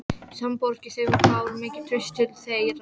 Samborgarar þeirra báru mikið traust til þeirra.